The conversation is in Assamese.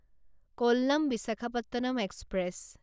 কল্লাম বিশাখাপট্টনম এক্সপ্ৰেছ